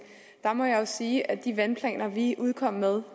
må jeg jo sige at de vandplaner vi kom med